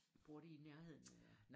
Bor de i nærheden eller?